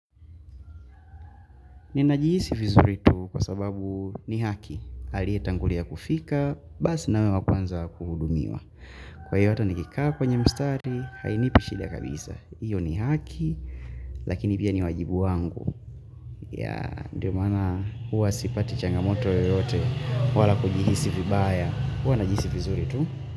Ninajihisi vizuri tu kwa sababu ni haki. Alietangulia kufika, basi na awe wa kwanza kuhudumiwa. Kwa hiyo hata nikikaa kwenye mstari, hainipi shida kabisa. Hiyo ni haki, lakini pia ni wajibu wangu. Ya, ndio maana huwa sipati changamoto yoyote wala kujihisi vibaya. Huwa najihisi vizuri tu.